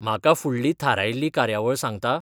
म्हाका फुडली थारायिल्ली कार्यावळ सांगता?